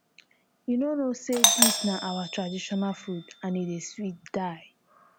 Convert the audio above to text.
you no know say dis na our traditional food and e dey sweet die.